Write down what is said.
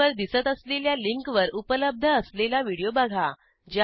स्क्रीनवर दिसत असलेल्या लिंकवर उपलब्ध असलेला व्हिडिओ बघा